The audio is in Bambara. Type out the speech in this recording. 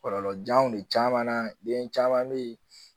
Kɔlɔlɔjanw de caman na den caman bɛ yen